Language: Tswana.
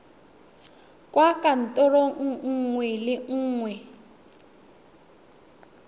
kwa kantorong nngwe le nngwe